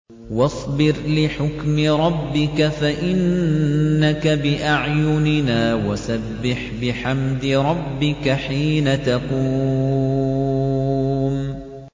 وَاصْبِرْ لِحُكْمِ رَبِّكَ فَإِنَّكَ بِأَعْيُنِنَا ۖ وَسَبِّحْ بِحَمْدِ رَبِّكَ حِينَ تَقُومُ